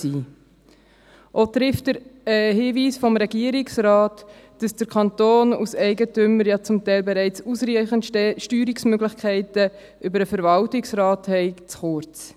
Auch greift der Hinweis des Regierungsrates, dass der Kanton als Eigentümer ausreichende Steuerungsmöglichkeiten über den Verwaltungsrat hat, zu kurz.